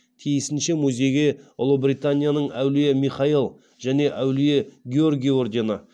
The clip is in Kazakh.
тиісінше музейге ұлыбританияның әулие михаил және әулие георгий ордені